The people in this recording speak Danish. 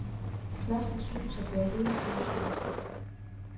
Pladsen synes at være hele byens mødested.